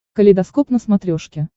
калейдоскоп на смотрешке